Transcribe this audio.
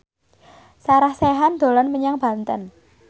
Sarah Sechan dolan menyang Banten